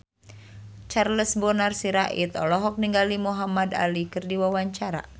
Charles Bonar Sirait olohok ningali Muhamad Ali keur diwawancara